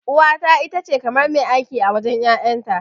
Uwa tana itace kamar mai aiki a wajen ƴaƴanta.